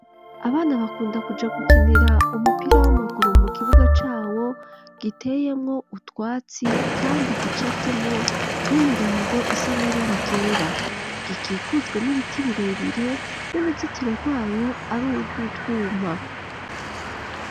Abana bakunda kuja gukinira umupira w'amaguru mu kibuga cawo giteyemwo utwatsi kandi gica afitemwo n'imirongo isa n'ibara ryera gikikujwe n'ibiti birebire n'uruzitiro rwayo ari urwutwuma.